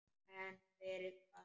En fyrir hvað?